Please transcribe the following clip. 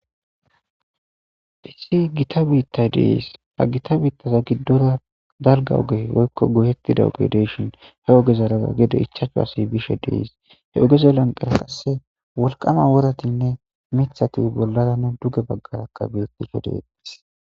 dhisi gita biitta dees ha gita biittaza giddora dalga ogey woykko gohettida ogedeshin he oge zaraza gede ichacho asi bishe dees he ugeze lanqara qasse wolqama woratinne mithati bollara ne duge baggara ka beetisho deetis